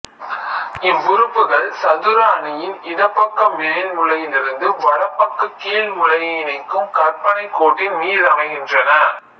இவ்வுறுப்புகள் சதுர அணியின் இடப்பக்க மேல் மூலையிலிருந்து வலப்பக்க கீழ் மூலையை இணைக்கும் கற்பனைக் கோட்டின் மீதமைகின்றன